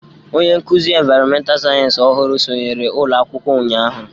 Onye nkụzi ịnvaịrọmental sayensị ọhụrụ sọnyere ụlọ akwụkwọ ụnyahụ.